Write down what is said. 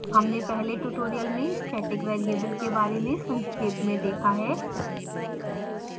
हमने पहले tutorial में static variable के बारे में संक्षेप में देखा है